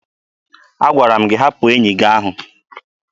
Agwara m gị hapụ enyi gị ahụ!